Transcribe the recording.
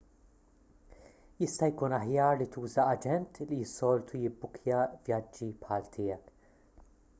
jista' jkun aħjar li tuża aġent li s-soltu jibbukkja vjaġġi bħal tiegħek